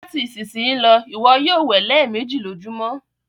Lati isisiyi lọ, iwọ yoo wẹ lẹẹmeji lojumọ!